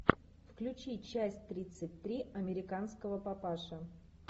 включи часть тридцать три американского папаши